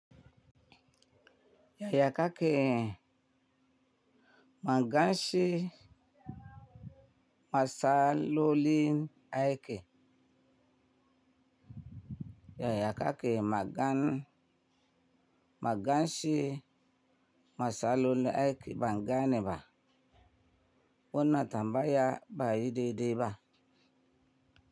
Yaya kake magance matsalolin aiki? Yaya kake magance matsalolin aiki ban ganeba? Wannan tambaya baiyi dai-dai ba.